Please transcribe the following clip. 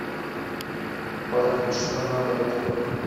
парень что надо открой